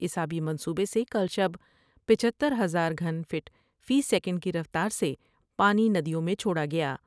اس آبی منصوبے سے کل شب پچہتر ہزار گھن فٹ فی سیکینڈ کی رفتار سے پانی ندیوں میں چھوڑا گیا ۔